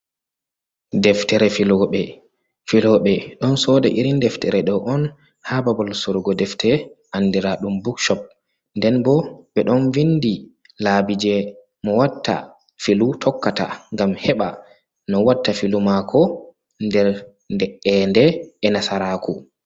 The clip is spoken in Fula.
Deftere filoɓe, filoɓe ɗon sooda iri deftere ɗo on, haa babal sorugo deftere andiraaɗum bukcop .Nden bo ɓe ɗon vinndi laabi jey mo watta filu tokkata ngam heɓa no watta filu maako nder de’eende e nasaraaku.